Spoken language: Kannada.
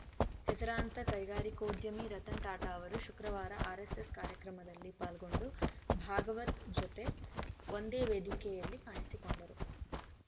ಹೆಸರಾಂತ ಕೈಗಾರಿಕೋದ್ಯಮಿ ರತನ್‌ ಟಾಟಾ ಅವರು ಶುಕ್ರವಾರ ಆರ್‌ಎಸ್‌ಎಸ್‌ ಕಾರ್ಯಕ್ರಮದಲ್ಲಿ ಪಾಲ್ಗೊಂಡು ಭಾಗವತ್‌ ಜತೆ ಒಂದೇ ವೇದಿಕೆಯಲ್ಲಿ ಕಾಣಿಸಿಕೊಂಡರು